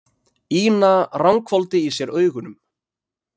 Ína ranghvolfdi í sér augunum.